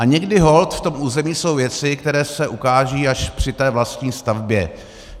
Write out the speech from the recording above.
A někdy holt v tom území jsou věci, které se ukážou až při té vlastní stavbě.